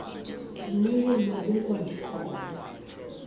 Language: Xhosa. luye lwabekwa ndikhona